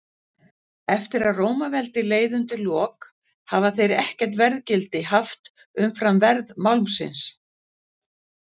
Eftir að Rómaveldi leið undir lok hafa þeir ekkert verðgildi haft umfram verð málmsins.